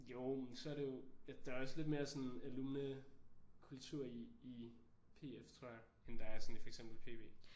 Jo men så er det jo der er også lidt mere sådan alumnekultur i i PF tror jeg end der er sådan i for eksempel PB